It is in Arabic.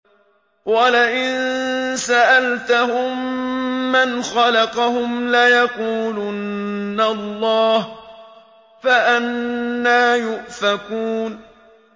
وَلَئِن سَأَلْتَهُم مَّنْ خَلَقَهُمْ لَيَقُولُنَّ اللَّهُ ۖ فَأَنَّىٰ يُؤْفَكُونَ